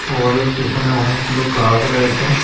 ওদের পিসনে অনেকগুলো গাস রয়েছে।